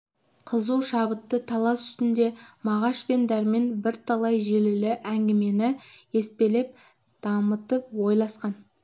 қызу шабытты талас үстінде мағаш пен дәрмен бірталай желілі әңгімені еспелеп дамытып ойласқан